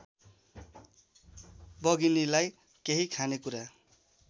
बघिनीलाई केही खानेकुरा